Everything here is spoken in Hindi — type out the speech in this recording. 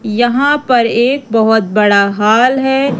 यहां पर एक बहुत बड़ा हॉल है।